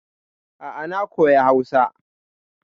A'a na koya Hausa.